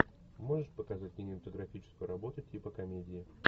можешь показать кинематографическую работу типа комедии